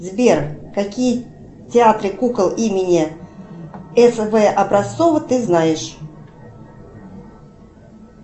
сбер какие театры кукол имени с в образцова ты знаешь